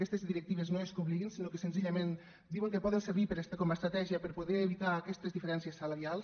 aquestes directives no és que obliguin sinó que senzillament diuen que poden servir com a estratègia per poder evitar aquestes diferències salarials